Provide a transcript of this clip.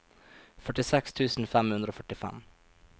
førtiseks tusen fem hundre og førtifem